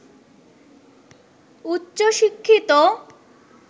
উচ্চ শিক্ষিত